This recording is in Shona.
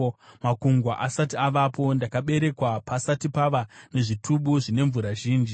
Makungwa asati avapo, ndakaberekwa, pasati pava nezvitubu zvine mvura zhinji;